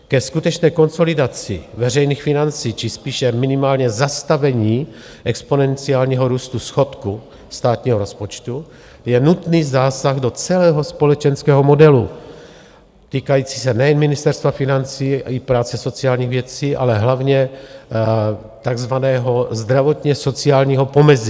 Ke skutečné konsolidaci veřejných financí či spíše minimálně zastavení exponenciálního růstu schodku státního rozpočtu je nutný zásah do celého společenského modelu týkající se nejen Ministerstva financí, i práce, sociálních věcí, ale hlavně tzv. zdravotně sociálního pomezí.